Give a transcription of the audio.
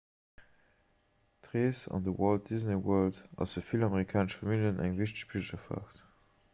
d'rees an de walt disney world ass fir vill amerikanesch familljen eng wichteg pilgerfaart